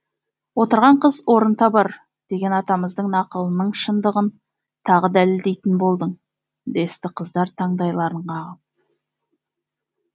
отырған қыз орын табар деген атамыздың нақылының шындығын тағы дәлелдейтін болдың десті қыздар таңдайларын қағып